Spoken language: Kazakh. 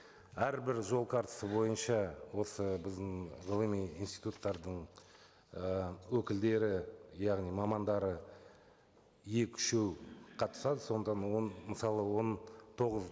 әрбір жол картасы бойынша осы біздің ғылыми институттардың і өкілдері яғни мамандары екі үшеуі қатысады он мысалы он тоғыз